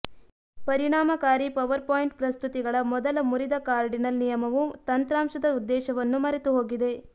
ಪರಿಣಾಮಕಾರಿ ಪವರ್ಪಾಯಿಂಟ್ ಪ್ರಸ್ತುತಿಗಳ ಮೊದಲ ಮುರಿದ ಕಾರ್ಡಿನಲ್ ನಿಯಮವು ತಂತ್ರಾಂಶದ ಉದ್ದೇಶವನ್ನು ಮರೆತುಹೋಗಿದೆ